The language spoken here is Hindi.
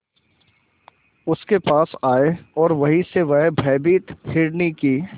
उसके पास आए और वहीं से वह भयभीत हिरनी की